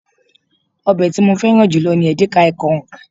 obe ti mo feran julo ni edikaikaong